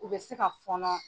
U bɛ se ka fɔnɔn.